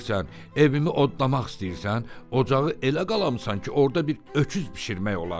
Neynirsən? Evimi odlamaq istəyirsən? Ocağı elə qalamısan ki, orda bir öküz bişirmək olar.